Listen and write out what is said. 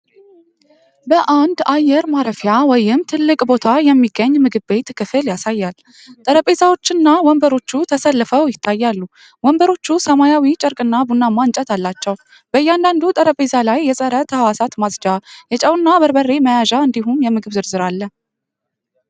በአንድ አየር ማረፊያ ወይም ትልቅ ቦታ የሚገኝ ምግብ ቤት ክፍል ያሳያል። ጠረጴዛዎችና ወንበሮች ተሰልፈው ይታያሉ፤ ወንበሮቹ ሰማያዊ ጨርቅና ቡናማ እንጨት አላቸው። በእያንዳንዱ ጠረጴዛ ላይ የጸረ-ተሕዋስ ማጽጃ፣ የጨውና በርበሬ መያዣ እንዲሁም የምግብ ዝርዝር አለ።